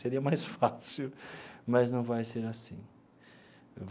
Seria mais fácil, mas não vai ser assim.